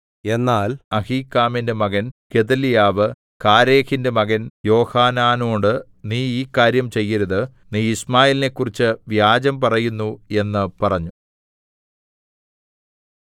എന്നാൽ അഹീക്കാമിന്റെ മകൻ ഗെദല്യാവ് കാരേഹിന്റെ മകൻ യോഹാനാനോട് നീ ഈ കാര്യം ചെയ്യരുത് നീ യിശ്മായേലിനെക്കുറിച്ച് വ്യാജം പറയുന്നു എന്ന് പറഞ്ഞു